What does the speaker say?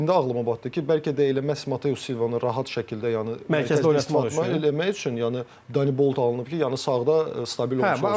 İndi ağlıma batdı ki, bəlkə də elə məhz Mateus Silvanı rahat şəkildə yəni mərkəzdə oynatmaq eləmək üçün yəni Danibolt alınıb ki, yəni sağda stabil olsun.